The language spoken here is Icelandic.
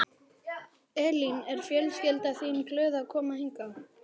Elín: Er fjölskyldan þín glöð að koma hingað?